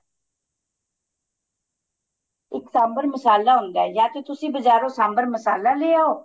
ਇੱਕ ਸਾਂਬਰ ਮਾਸਲਾ ਹੁੰਦਾ ਤੁਸੀਂ ਬਾਜਾਰੋ ਸਾਂਬਰ ਮਸਾਲਾ ਲੈ ਆਉ